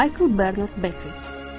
Michael Bernard Beki.